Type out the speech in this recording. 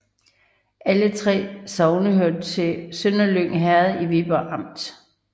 Alle 3 sogne hørte til Sønderlyng Herred i Viborg Amt